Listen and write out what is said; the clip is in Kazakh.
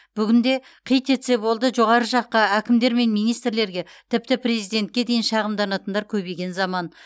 бүгінде қит етсе болды жоғары жаққа әкімдер мен министрлерге тіпті президентке дейін шағымданатындар көбейген заман